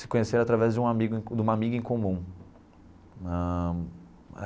se conheceram através de uma amiga de uma amiga em comum na.